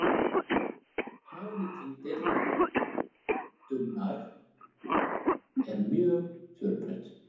Hagnýting deildunar er mjög fjölbreytt.